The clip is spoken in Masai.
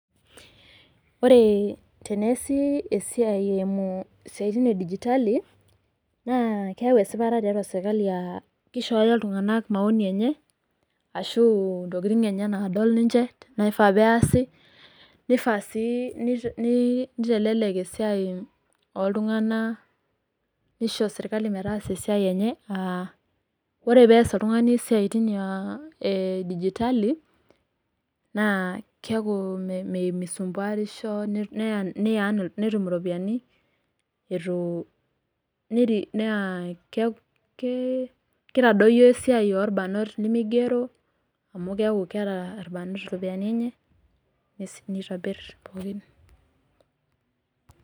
Oree teneesi esiae emuu isiatini e digitali naa keeyawu esipata tiatua serkali aa keishooyo iltungana maoni enye ashu ntokitin enye naadol ninche naifa a peasi neifa sii neitelelek esiae ooltunganak nisho serkali metaasa siatin enye aa ore peas oltungani siatin ae digitali naa kueku meisumbuarisho ni earn netum ilopiyiani itu nea Kee Kee keitadoyio esiae olbarnot nimigero amu keeku keeta ilbarnot iropiyiani enye es nitobir pookin